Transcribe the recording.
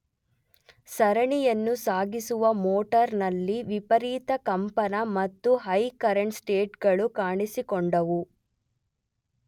ಸರಣಿಯನ್ನು ಸಾಗಿಸುವ ಮೋಟಾರ್ ನಲ್ಲಿ ವಿಪರೀತ ಕಂಪನ ಮತ್ತು ಹೈ ಕರೆಂಟ್ ಸ್ಪೈಕ್ ಗಳು ಕಾಣಿಸಿಕೊಂಡವು.